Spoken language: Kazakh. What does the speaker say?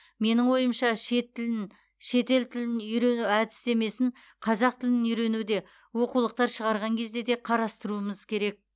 менің ойымша шет тілін шетел тілін үйрену әдістемесін қазақ тілін үйренуде оқулықтар шығарған кезде де қарастыруымыз керек